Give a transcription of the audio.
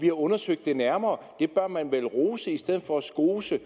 har undersøgt det nærmere det bør man vel rose i stedet for at skose